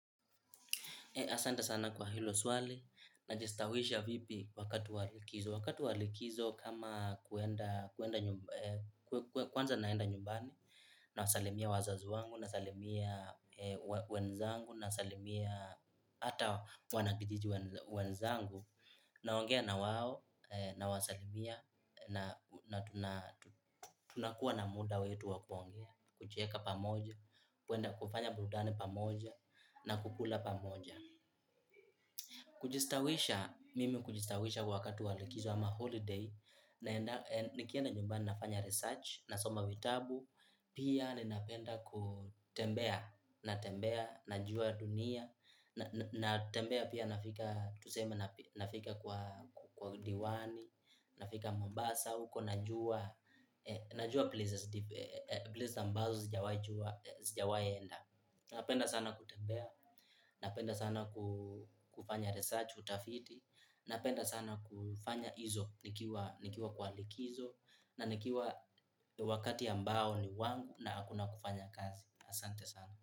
Asante sana kwa hilo swali na jistawisha vipi wakati walikizo. Wakati wa likizo kama kwanza naenda nyumbani nawasalimia wazazi wangu nasalimia wenzangu nasalimia hata wanakijiji wenzangu. Naongea na wao nawasalimia na tunakua na muda wetu wa kuongea. Kucheka pamoja, kufanya burudani pamoja na kukula pamoja. Kujistawisha, mimi kujistawisha wakati wa likizo ama holiday, nikienda nyumbani nafanya research, nasoma vitabu, pia ninapenda kutembea, natembea, najua dunia, natembea pia nafika kwa diwani, nafika mombasa, huko najua, najua places ambazo zijawahi jua sijawahi enda. Napenda sana kutembea, napenda sana kufanya research utafiti, napenda sana kufanya hizo, nikiwa kwa likizo, na nikiwa wakati ambao ni wangu na hakuna kufanya kazi, asante sana.